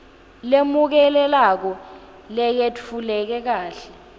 lemukelekako leyetfuleke kahle